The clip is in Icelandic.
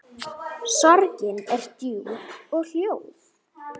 Sorgin er djúp og hljóð.